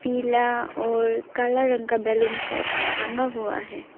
पीला और काला रंग का बैलून सब टंगा हुआ है।